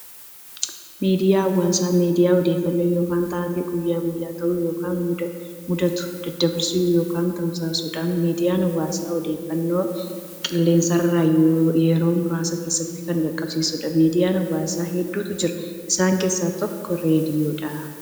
Miidiyaa hawaasaa miidiyaa odeeffannoo yookiin taatee guyyaa guyyaan ta'u yookiin mudatu daddabarsu yookiin tamsaasudha. Miidiyaan hawaasaa odeeffannoo qilleensarraan yeroo muraasa keessatti kan qaqqabsiisudha. Miidiyaan hawaasaa hedduutu jira. Isaan keessaa tokko raadiyoodha.